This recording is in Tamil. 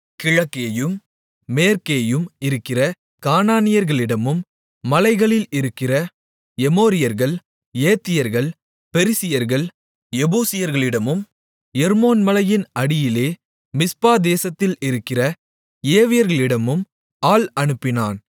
கிழக்கேயும் மேற்கேயும் இருக்கிற கானானியர்களிடமும் மலைகளில் இருக்கிற எமோரியர்கள் ஏத்தியர்கள் பெரிசியர்கள் எபூசியர்களிடமும் எர்மோன் மலையின் அடியிலே மிஸ்பா தேசத்தில் இருக்கிற ஏவியர்களிடமும் ஆள் அனுப்பினான்